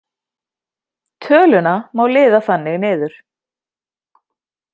Töluna má liða þannig niður: